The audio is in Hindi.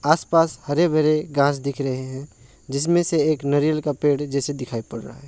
आस पास हरे भरे घास दिख रहे हैं जिसमें से एक नरियल का पेड़ जैसा दिखाई पड़ रहा--